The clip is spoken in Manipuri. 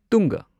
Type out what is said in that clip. ꯇꯨꯡꯒ